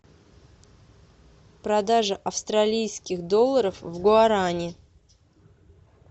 продажа австралийских долларов в гуарани